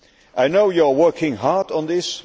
I know you are working hard on this